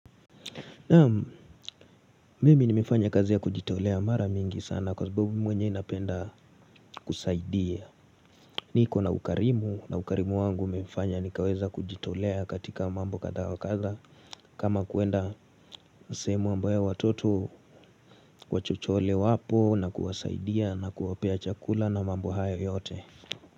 Naam mimi nimefanya kazi ya kujitolea mara mingi sana kwa sababu mi mwenyewe napenda kusaidia niko na ukarimu na ukarimu wangu imefanya nikaweza kujitolea katika mambo kadhaa wa kadha kama kuenda sehemu ambayo watoto wachochole wapo na kuwasaidia na kuwapea chakula na mambo hayo yote.